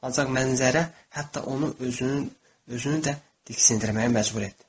Ancaq mənzərə hətta onu özünün özünü də diksindirməyə məcbur etdi.